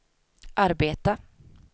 arbeta